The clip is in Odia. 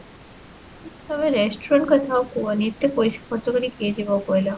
ତମେ restaurant କଥା କୁହନି, ଏତେ ପଇସା ଖର୍ଚ୍ଚ କରିକି କିଏ ଯିବ କହିଲ?